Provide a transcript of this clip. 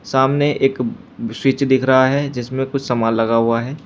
सामने एक फ्रिज दिख रहा है जिसमें कुछ सामान लगा हुआ है।